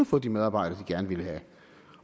få de medarbejdere de gerne ville have